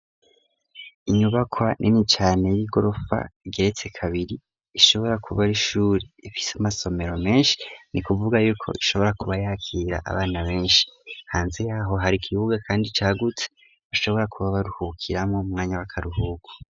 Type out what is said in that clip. Inyubakwa nini cane y'igorofa igeretse kabiri ishobora kuba ari ishure ifise amasomero menshi ni kuvuga yuko ishobora kuba yakira abana benshi. Hanze yaho hari ikibuga kandi cagutse bashobora kuba baruhukiramwo mu mwanya w'akaruhuko.